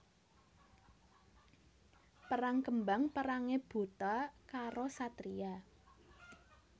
Perang kembang perangé buta karo satriya